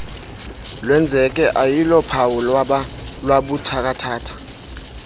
lwenzeke ayilophawu lwabuthathaka